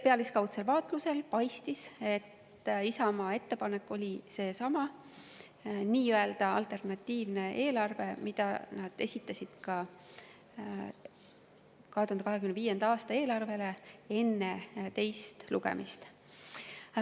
Pealiskaudsel vaatlusel paistis, et Isamaa ettepanek oli seesama nii-öelda alternatiivne eelarve, mille nad esitasid 2025. aasta eelarve kohta ka enne teist lugemist.